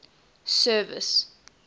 service